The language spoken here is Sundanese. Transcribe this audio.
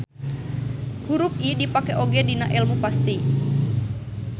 Hurup I dipake oge dina elmu pasti.